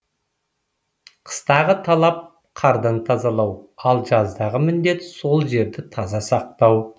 қыстағы талап қардан тазалау ал жаздағы міндет сол жерді таза сақтау